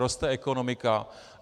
Roste ekonomika.